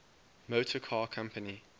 motor car company